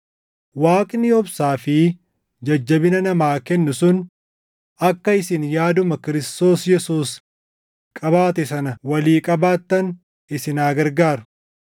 Waaqni obsaa fi jajjabina namaa kennu sun akka isin yaaduma Kiristoos Yesuus qabaate sana walii qabaattan isin haa gargaaru.